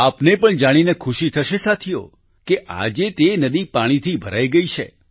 આપને પણ જાણીને ખુશી થશે સાથીઓ કે આજે તે નદી પાણીથી ભરાઈ ગઈ છે